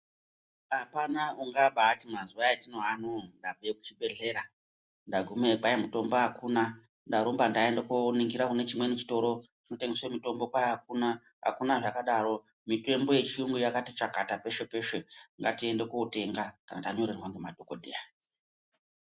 Apana ungabaati mazuwa atiri ano ndaenda kuchibhedhera ndagumeyi kwai mutombo akuna ndarumba ndaende kundoningira kune chimweni chitoro kunotengeswe mutombo kwai akuna akuna zvakadaro mitombo yechiyungu yakati chakata peshe peshe ngatiende kotenga kana tanorerwa ngemadhokodheya.